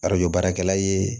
Arajo baarakɛla ye